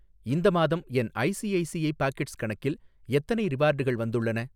இந்த மாதம் என் ஐசிஐசிஐ பாக்கெட்ஸ் கணக்கில் எத்தனை ரிவார்டுகள் வந்துள்ளன?